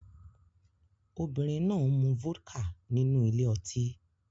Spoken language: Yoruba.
Obìnrin náà ń mu vodka nínú ile-oti